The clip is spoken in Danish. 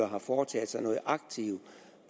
har foretaget sig noget aktivt